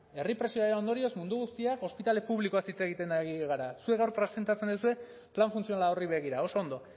herri presioaren ondorioz mundu guztiak ospitale publikoaz hitz egiten ari gara zuek gaur presentatzen duzue plan funtzional horri begira oso ondo